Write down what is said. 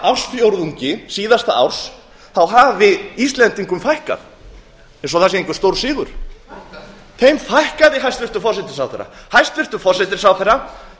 ársfjórðungi síðasta árs hafi íslendingum fækkað eins og það sé einhver stórsigur þeim fækkaði þeim fækkaði hæstvirtur forsætisráðherra hæstvirtur forsætisráðherra